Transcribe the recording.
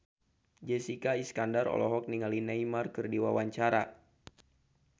Jessica Iskandar olohok ningali Neymar keur diwawancara